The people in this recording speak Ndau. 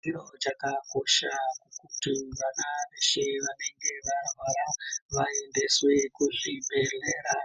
Chiro chakakosha kuti vana veshe vanenge varwara vaendeswe kuzvibhedhlera.